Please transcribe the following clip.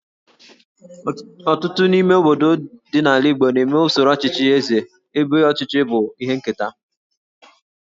Ọtụtụ n'ime obodo ndị dị n'ala Igbo na-eme usoro ọchịchị Eze ebe ọchịchị bụ ihe nketa